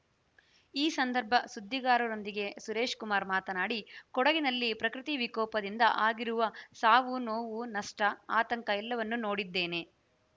ಈ ಸಂದರ್ಭ ಸುದ್ದಿಗಾರರೊಂದಿಗೆ ಸುರೇಶ್‌ ಕುಮಾರ್‌ ಮಾತನಾಡಿ ಕೊಡಗಿನಲ್ಲಿ ಪ್ರಕೃತಿ ವಿಕೋಪದಿಂದ ಆಗಿರುವ ಸಾವುನೋವು ನಷ್ಟ ಆತಂಕ ಎಲ್ಲವನ್ನೂ ನೋಡಿದ್ದೇನೆ